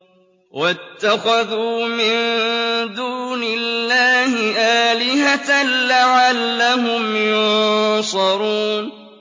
وَاتَّخَذُوا مِن دُونِ اللَّهِ آلِهَةً لَّعَلَّهُمْ يُنصَرُونَ